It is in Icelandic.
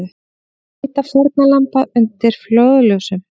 Leita fórnarlamba undir flóðljósum